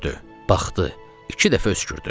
Baxdı, iki dəfə öskürdü.